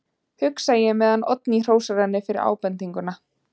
hugsa ég meðan Oddný hrósar henni fyrir ábendinguna.